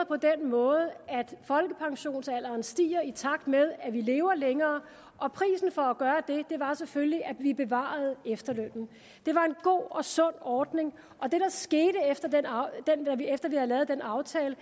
på den måde at folkepensionsalderen stiger i takt med at vi lever længere og prisen for at var selvfølgelig at vi bevarede efterlønnen det var en god og sund ordning og det der skete efter vi havde lavet den aftale